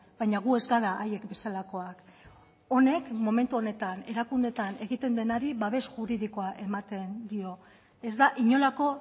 baina gu ez gara haiek bezalakoak honek momentu honetan erakundeetan egiten denari babes juridikoa ematen dio ez da inolako